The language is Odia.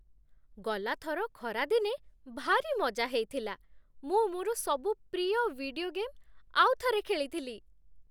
ଗଲା ଥର ଖରାଦିନେ ଭାରି ମଜା ହେଇଥିଲା । ମୁଁ ମୋର ସବୁ ପ୍ରିୟ ଭିଡିଓ ଗେମ୍ ଆଉଥରେ ଖେଳିଥିଲି ।